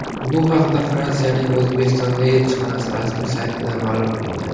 Bu haqda Fransiyaning O‘zbekistondagi elchixonasi rasmiy saytida ma’lum qilingan .